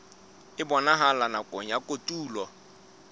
e bonahalang nakong ya kotulo